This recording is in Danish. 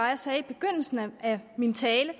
jeg sagde i begyndelsen min tale